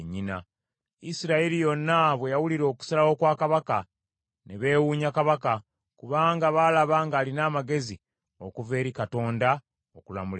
Isirayiri yonna bwe yawulira okusalawo kwa kabaka, ne beewuunya kabaka, kubanga baalaba ng’alina amagezi okuva eri Katonda okulamula ensonga.